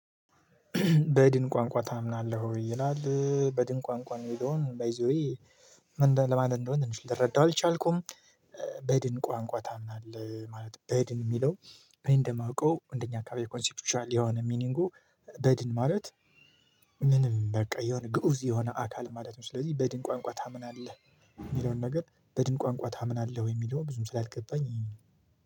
በድን ቋንቋ ታምናለህ? ይላል በድን ቋንቋ የሚለውን ባይ ዘ ዌይ ምን ለማለት እንደሆነ ልትረዳው አልቻልኩም በድን ቋንቋ ታምናለህ ማለት በድን የሚለው እኔ እንደማውቀው እንደኛ አካባቢ ኮንሴፕቱ ያለ የሆነ ሚኒንጉ በድን ማለት ምንም በቃ የሆነ ግኡዝ የሆነ አካል ማለት ነው ስለዚህ በድን ቋንቋ ታምናለህ የሚለውን ነገር በድን ቋንቋ ታምናለህ ወይ የሚለውን ብዙም ስላልገባኝ